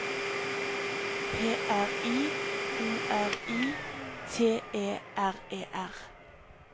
P R I O R I T E R E R